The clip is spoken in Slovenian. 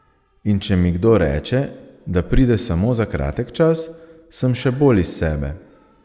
In če mi kdo reče, da pride samo za kratek čas, sem še bolj iz sebe.